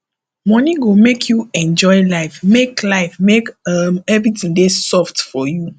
money go make you enjoy life make life make um everything dey soft for you